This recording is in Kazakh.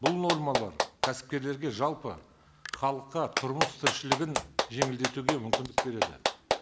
бұл нормалар кәсіпкерлерге жалпы халыққа тұрмыс тіршілігін жеңілдетуге мүмкіндік береді